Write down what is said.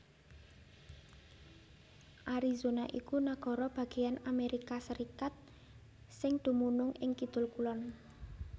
Arizona iku nagara bagéyan Amérika Sarékat sing dumunung ing kidul kulon